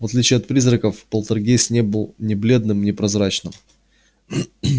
в отличие от призраков полтергейст не был ни бледным ни прозрачным